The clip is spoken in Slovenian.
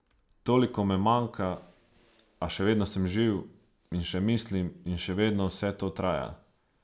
Toliko me manjka, a še vedno sem živ in še mislim in še vedno vse to traja.